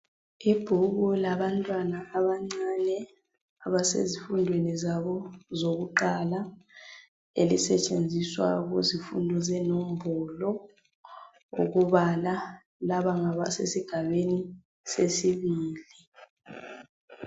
Ibhuku labantwana abancane abasezifundweni zabo zokuqala elisetshenziswa kuzifundo zenombolo ukubala laba ngabasesigabeni sesibili.